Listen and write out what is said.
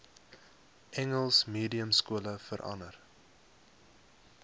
engels mediumskole verander